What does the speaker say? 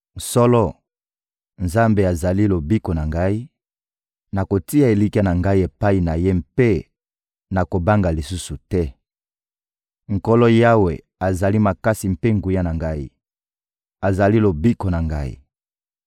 Solo, Nzambe azali lobiko na ngai; nakotia elikya na ngai epai na Ye mpe nakobanga lisusu te. Nkolo Yawe azali makasi mpe nguya na ngai; azali lobiko na ngai.»